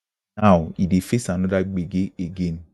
now e dey face anoda gbege again